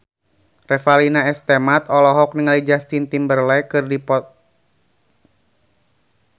Revalina S. Temat olohok ningali Justin Timberlake keur diwawancara